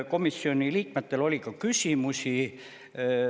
Komisjoni liikmetel oli ka küsimusi.